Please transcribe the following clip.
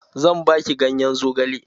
Zan baki ganyen zogalen